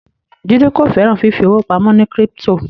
Jide ko féràn fífi owo pàmò ní crypto